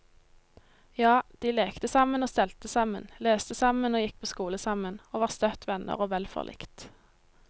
Ja, de lekte sammen og stelte sammen, leste sammen og gikk på skole sammen, og var støtt venner og vel forlikt.